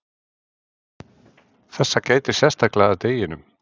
þessa gætir sérstaklega að deginum